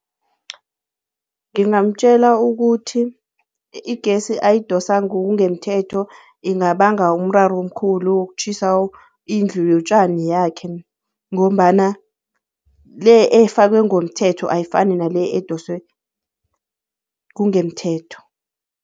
Ngingamtjela ukuthi igesi ayidosa ngokungemthetho ingabanga umraro omkhulu wokutjhisa indlu yotjani yakhe, ngombana le efakwe ngomthetho ayifani nale edoswe kungemthetho.